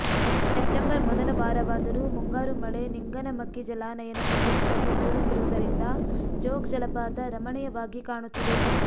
September ಮೊದಲ ವಾರವಾದರೂ ಮುಂಗಾರು ಮಳೆ ಲಿಂಗನಮಕ್ಕಿ ಜಲಾನಯನ ಪ್ರದೇಶದಲ್ಲಿ ಬೀಳುತ್ತಿರುವುದರಿಂದ ಜೋಗ್ ಜಲಪಾತ ರಮಣೀಯವಾಗಿ ಕಾಣುತ್ತಿದೆ